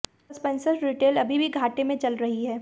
Spencer's retail अभी भी घाटे में चल रही है